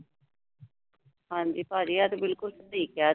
ਹਾਂ ਜੀ। ਭਾਜੀ ਇਹ ਤੇ ਬਿੱਲਕੁੱਲ ਸਹੀ ਕਿਹਾ।